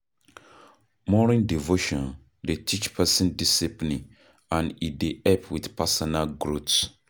Morning devotion dey teach person discipline and e dey help with personal growth